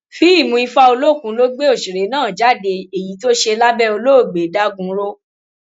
fíìmù ifá olókùn ló gbé òṣèré náà jáde èyí tó ṣe lábẹ olóògbé dagunro